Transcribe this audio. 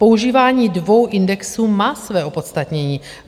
Používání dvou indexů má své opodstatnění.